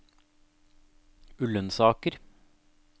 Ullensaker